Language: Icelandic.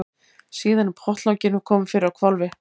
Síðan er pottlokinu komið fyrir á hvolfi.